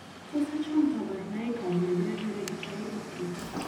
Tos achon kabarunaik ab Leber hereditary optic ?